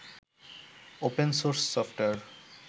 open source software